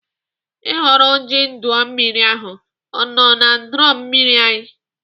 Ị hụrụ ojiọdụanụmmiri ahụ na drọn mmiri anyị?